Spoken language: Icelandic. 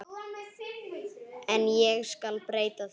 En ég skal breyta því.